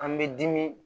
An bɛ dimi